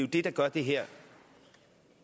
det der gør det her